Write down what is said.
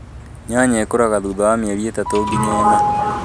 Nyanya ĩkuraga thutha wa mĩeri ĩtatu nginya ĩna.